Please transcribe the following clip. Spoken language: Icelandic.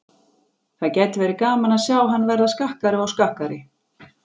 Það gæti verið gaman að sjá hann verða skakkari og skakkari.